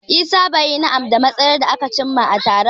Isah bai yi na'am da matsayar da aka cimma a taron ba.